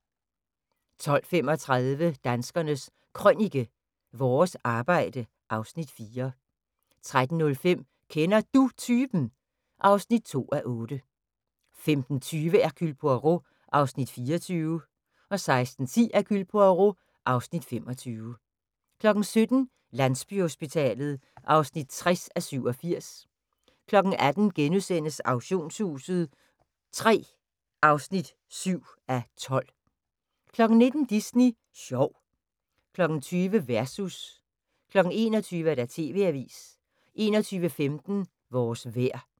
12:35: Danskernes Krønike – Vores arbejde (Afs. 4) 13:05: Kender Du Typen? (2:8) 15:20: Hercule Poirot (Afs. 24) 16:10: Hercule Poirot (Afs. 25) 17:00: Landsbyhospitalet (60:87) 18:00: Auktionshuset III (7:12)* 19:00: Disney sjov 20:00: Versus 21:00: TV-avisen 21:15: Vores vejr